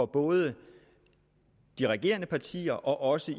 både de regerende partier og også